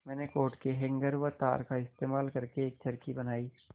मैंने कोट के हैंगर व तार का इस्तेमाल करके एक चरखी बनाई